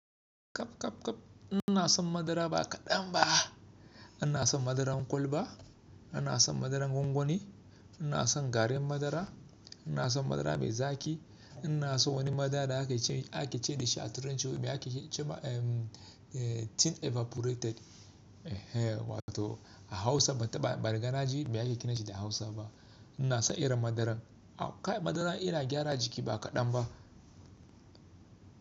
Kap, kap, kap. Ina son madara ba kaɗan ba. Ina son madaran kwalba, ina son madaran gwangwani, ina son garin madara, ina son madara mai zaki, ina so wani madara da ake ce, ake ce da shi a Turanci mai ake ce ba, eh, tin evaporated. Ehe, wato a Hausa ban taɓa ban riga naji me ake kiran shi da Hausa ba. Ina son irin madaran. Kai madara yana gyara jiki ba kaɗan ba.